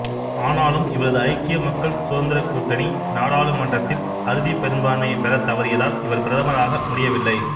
ஆனாலும் இவரது ஐக்கிய மக்கள் சுதந்திரக் கூட்டணி நாடாளுமன்றத்தில் அறுதிப் பெரும்பான்மையைப் பெறத் தவறியதால் இவர் பிரதமராக முடியவில்லை